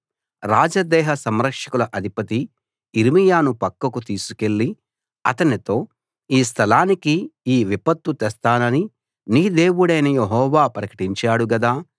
రాజదేహ సంరక్షకుల అధిపతి యిర్మీయాను పక్కకు తీసుకెళ్ళి అతనితో ఈ స్థలానికి ఈ విపత్తు తెస్తానని నీ దేవుడైన యెహోవా ప్రకటించాడు గదా